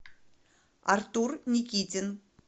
артур никитин